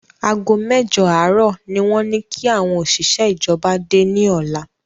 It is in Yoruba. Ago mẹ́jọ àárò ni wọ́n ní kí àwọn òṣìṣẹ́ ìjọba dé ni ọ̀la